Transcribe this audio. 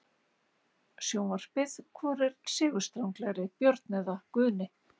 Sjónvarpið: Hvor er sigurstranglegri- Björn eða Guðni?